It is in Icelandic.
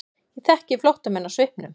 Ég þekki flóttamenn á svipnum.